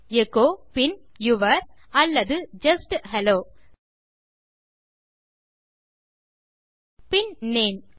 echo pin your அல்லது just hello pin name